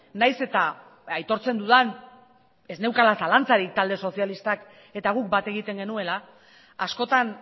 nahiz eta aitortzen dudan ez neukala zalantzarik talde sozialistak eta guk bat egiten genuela askotan